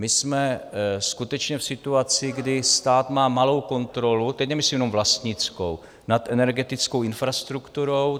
My jsme skutečně v situaci, kdy stát má malou kontrolu, teď nemyslím jenom vlastnickou, nad energetickou infrastrukturou.